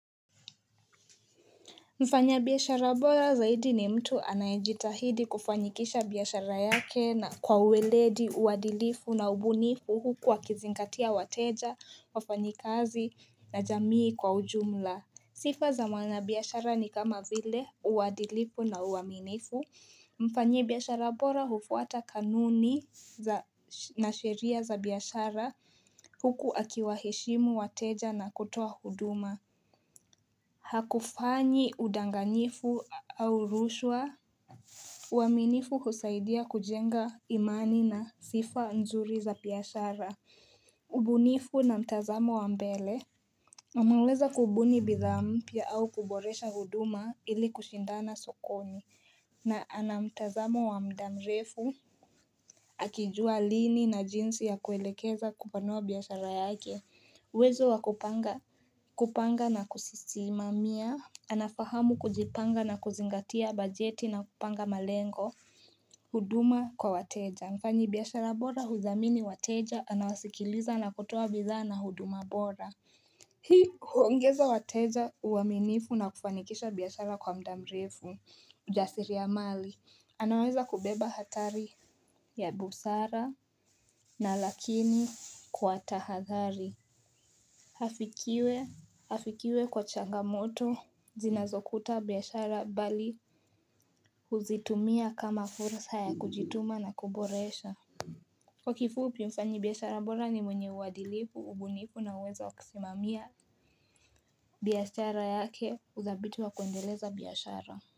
Mfanya biashara bora zaidi ni mtu anayejitahidi kufanyikisha biashara yake na kwa ueledi uwadilifu na ubuni huku akizingatia wateja, wafanyikazi na jamii kwa ujumla. Sifa za mwanabiashara ni kama vile uwadilifu na uwaminifu. Mfanyi biashara bora hufuata kanuni na sheria za biashara huku akiwaheshimu wateja na kutoa huduma. Hakufanyi udanganyifu au rushwa uaminifu husaidia kujenga imani na sifa nzuri za biashara ubunifu na mtazamo wa mbele anaweza kubuni bidhaa mpya au kuboresha huduma ili kushindana sokoni na ana mtazamo wa mda mrefu akijua lini na jinsi ya kuelekeza kupanua biashara yake uwezo wa kupanga na kusimamia Anafahamu kujipanga na kuzingatia bajeti na kupanga malengo huduma kwa wateja Mfanyi biashara bora huthamini wateja Anawasikiliza na kutoa bidhaa na huduma bora Hii huongeza wateja uaminifu na kufanikisha biashara kwa mda mrefu ujasiri wa mali anaweza kubeba hatari ya busara na lakini kwa tahathali Hafikiwe kwa changamoto Zinazokuta biashara mbali huzitumia kama fursa ya kujituma na kuboresha Kwa kifupi mfanyi biashara bora ni mwenye uadilifu, ubunifu na uwezo wa kusimamia biashara yake udhabiti wa kuendeleza biashara.